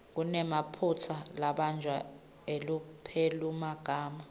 kunemaphutsa lambalwa elupelomagama